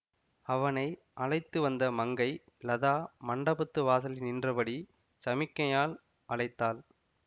அவனை அழைத்து வந்த மங்கை லதா மண்டபத்து வாசலில் நின்றபடி சமிக்ஞையால் அழைத்தாள்